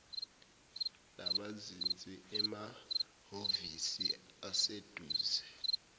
nabazinze emahovisi aseduze